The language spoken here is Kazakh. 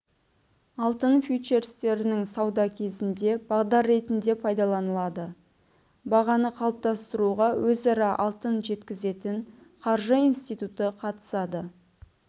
алтын фьючерстерінің саудасы кезінде бағдар ретінде пайдаланылады бағаны қалыптастыруға өзара алтын жеткізетін қаржы институты қатысады